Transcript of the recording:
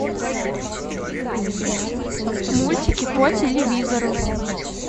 мультики по телевизору